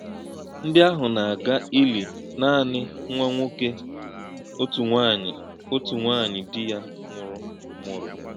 Ndị́ àhụ̄ nà - àgà̄ ìlì̄ nànì̄ nwá̄ ǹwọ̀kè̄ ọ̀tụ̀ nwá̄nyí̄ ọ̀tụ̀ nwá̄nyí̄ dì̄ yá nwù̄rụ̀ mù̄rụ̀.